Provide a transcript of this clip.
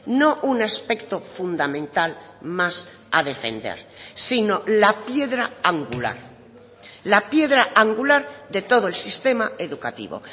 no un aspecto fundamental más a defender sino la piedra angular la piedra angular de todo el sistema educativo